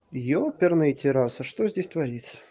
еперный терраса что здесь творится